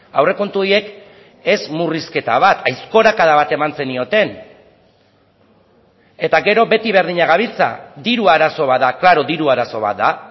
aurrekontu horiek ez murrizketa bat aizkorakada bat eman zenioten eta gero beti berdina gabiltza diru arazo bat da claro diru arazo bat da